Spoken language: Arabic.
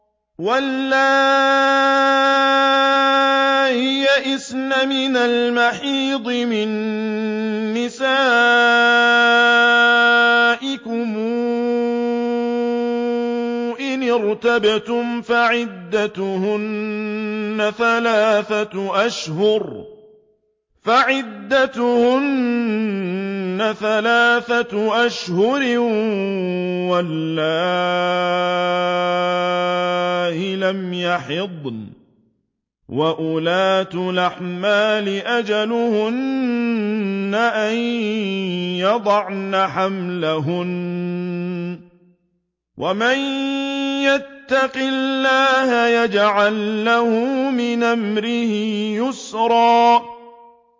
وَاللَّائِي يَئِسْنَ مِنَ الْمَحِيضِ مِن نِّسَائِكُمْ إِنِ ارْتَبْتُمْ فَعِدَّتُهُنَّ ثَلَاثَةُ أَشْهُرٍ وَاللَّائِي لَمْ يَحِضْنَ ۚ وَأُولَاتُ الْأَحْمَالِ أَجَلُهُنَّ أَن يَضَعْنَ حَمْلَهُنَّ ۚ وَمَن يَتَّقِ اللَّهَ يَجْعَل لَّهُ مِنْ أَمْرِهِ يُسْرًا